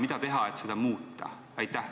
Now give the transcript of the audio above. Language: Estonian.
Mida teha, et seda muuta?